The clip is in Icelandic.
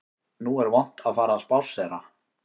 Nú er vont að fara að spásséra